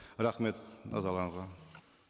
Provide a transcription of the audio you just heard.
рахмет назарларыңызға